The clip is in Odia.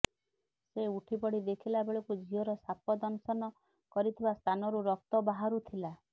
ସେ ଉଠିପଡି ଦେଖିଲା ବେଳକୁ ଝିଅର ସାପ ଦଂଶନ କରିଥିବା ସ୍ଥାନରୁ ରକ୍ତ ବାହାରୁ ଥିଲା